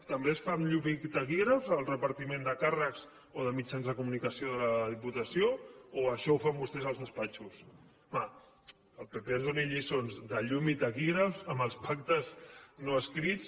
també es fa amb llum i taquígrafs el repartiment de càrrecs o de mitjans de comunicació de la diputació o això ho fan vostès als despatxos home que el pp ens doni lliçons de llum i taquígrafs amb els pactes no escrits